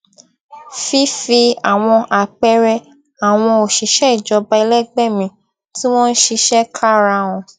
fífi àwọn àpẹẹrẹ àwọn òṣìṣẹ ìjọba ẹlẹgbẹ mi tí wọn ń ṣiṣẹ kára hàn